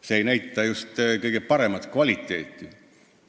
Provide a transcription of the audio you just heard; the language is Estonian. See ei näita just kõige paremat kvaliteeti.